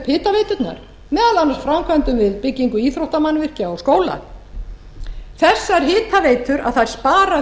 hitaveiturnar meðal annars framkvæmdum við byggingu íþróttamannvirkja og skóla þessar hitaveitur spara